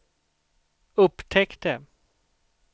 upptäckte